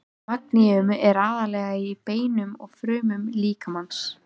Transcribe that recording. Magníum er aðallega í beinum og frumum líkamans.